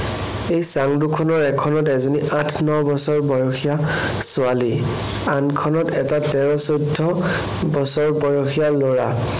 এই চাঙ দুখনৰ এখনত এজনী আঠ-ন বছৰ বয়সীয়া ছোৱালী। আনখনত এটা তেৰ-চৈধ্য বছৰ বয়সীয়া লৰা।